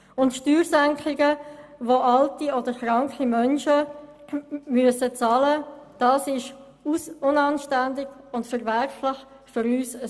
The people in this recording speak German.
Und Steuersenkungen, die alte oder kranke Menschen bezahlen müssen, sind unanständig und verwerflich: für uns